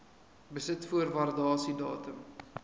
besit voor waardasiedatum